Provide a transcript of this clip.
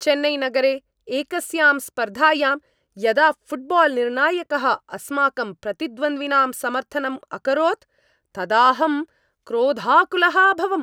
चेन्नैनगरे एकस्यां स्पर्धायां यदा फ़ुट्बाल्निर्णायकः अस्माकं प्रतिद्वन्द्विनां समर्थनम् अकरोत् तदाहं क्रोधाकुलः अभवम्।